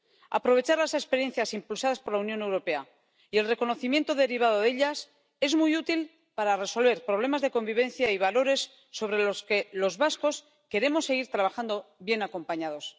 Aprovechar las experiencias impulsadas por la Unión Europea y el reconocimiento derivado de ellas es muy útil para resolver problemas de convivencia y valores sobre los que los vascos queremos seguir trabajando bien acompañados.